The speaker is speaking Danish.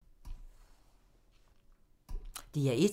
DR1